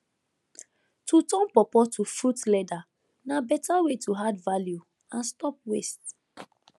to turn pawpaw to fruit leather na better way to add value and stop waste